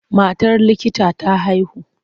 Matar likita ta haihu.